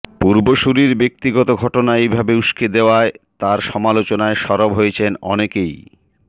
পূর্বসূরির ব্যক্তিগত ঘটনা এভাবে উস্কে দেওয়ায় তার সমালোচনায় সরব হয়েছেন অনেকেই